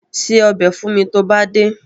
Ṣe ọbẹ̀ fún mi tó bá dé.